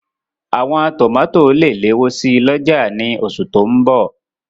Àwọn tòmátò lè léwó si lọ́jà ní oṣù tó n bọ̀